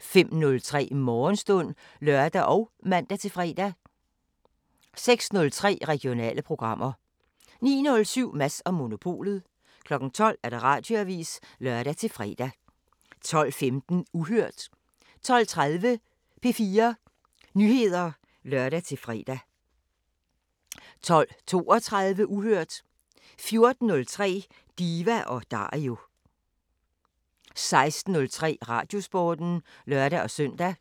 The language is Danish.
05:03: Morgenstund (lør og man-fre) 06:03: Regionale programmer 09:07: Mads & Monopolet 12:00: Radioavisen (lør-fre) 12:15: Uhørt 12:30: P4 Nyheder (lør-fre) 12:32: Uhørt 14:03: Diva & Dario 16:03: Radiosporten (lør-søn)